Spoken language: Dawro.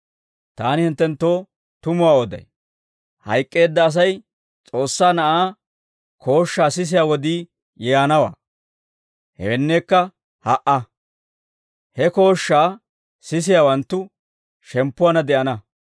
Taani hinttenttoo tumuwaa oday; hayk'k'eedda Asay S'oossaa Na'aa kooshshaa sisiyaa wodii yaanawaa; hewenneekka ha"a. He kooshshaa sisiyaawanttu shemppuwaanna de'ana.